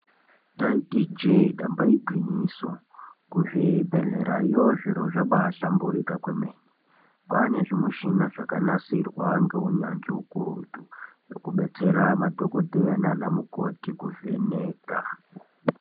Ndaiti ijee damba igwinyiso, kuzvibhendlerayo zviro zvabaahlamburika kwemene. Kwaane zvimishina zvakanasirwa ngeunyanzvi hukurutu. Zvekubetsera madhokodheya nanamukoti kuvheneka.